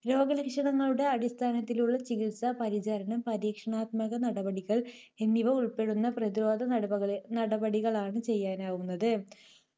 രോഗലക്ഷണങ്ങളുടെ അടിസ്ഥാനത്തിലുള്ള ചികിത്സ, പരിചരണം, പരീക്ഷണാത്മക നടപടികൾ എന്നിവ ഉൾപ്പെടുന്ന പ്രതിരോധനട~നടപടികളാണ് ചെയ്യാനാവുന്നത്.